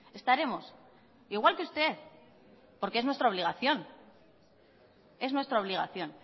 estaremos igual que usted porque es nuestra obligación es nuestra obligación